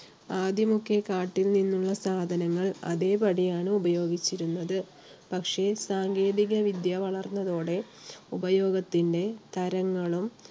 ആദ്യമൊക്കെ കാട്ടിൽ നിന്നുള്ള സാധനങ്ങൾ അതേപടിയാണ് ഉപയോഗിച്ചിരുന്നത്. പക്ഷേ സാങ്കേതിക വിദ്യ വളർന്നതോടെ ഉപയോഗത്തിന്റെ തരങ്ങളും